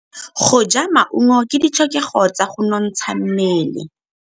Go ja maungo ke ditlhokegô tsa go nontsha mmele.